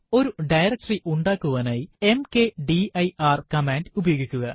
ഒരു ഡയറക്ടറി ഉണ്ടാക്കുവാനായി mkdir command ഉപയോഗിക്കുക